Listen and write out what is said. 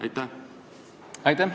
Aitäh!